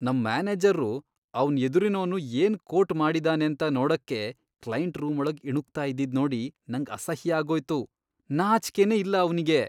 ನಮ್ ಮ್ಯಾನೇಜರ್ರು ಅವ್ನ್ ಎದುರಿನೋನು ಏನ್ ಕೋಟ್ ಮಾಡಿದಾನೇಂತ ನೋಡಕ್ಕೆ ಕ್ಲೈಂಟ್ ರೂಮೊಳಗ್ ಇಣುಕ್ತಾ ಇದ್ದಿದ್ನೋಡಿ ನಂಗ್ ಅಸಹ್ಯ ಆಗೋಯ್ತು, ನಾಚ್ಕೆನೇ ಇಲ್ಲ ಅವ್ನಿಗೆ.